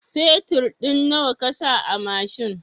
Fetur ɗin nawa kasa a mashin?